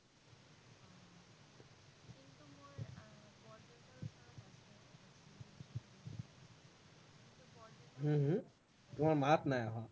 উম উম তোমাৰ মাত নাই অহা